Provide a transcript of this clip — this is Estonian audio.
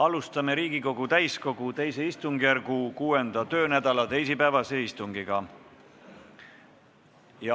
Alustame Riigikogu täiskogu II istungjärgu 6. töönädala teisipäevast istungit.